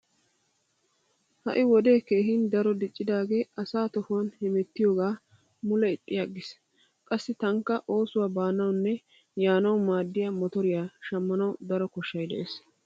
Ha"i wode keehin daro diccidaagee asaa tohuwan hemettiyogaa mule ixxi aggiis. Qassi taanikka oosuwa baanawunne yaanawu maaddiya motoriya shammanawu daro koshshay dees.